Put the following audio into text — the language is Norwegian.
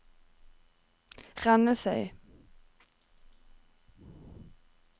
Rennesøy